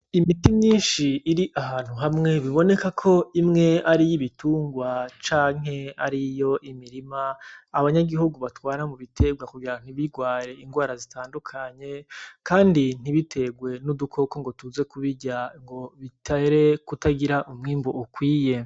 Imiti myinshi iri ahantu hamwe biboneka ko imwe ari iy’ibitungwa canke ari iyo imirima, abanyagihugu batwara mu biterwa kugira ntibirware ingwara zitandukanye, kandi ntibiterwe n’udukoko ngo tuze kubirya ngo biterere kutagira umwimbu ukwiye.